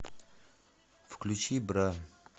включи бра